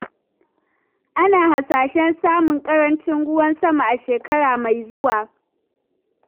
Ana hasashen samun ƙarancin ruwan sama a shekara mai zuwa.